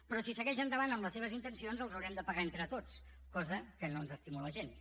però si segueix endavant amb les seves intencions els haurem de pagar entre tots cosa que no ens estimula gens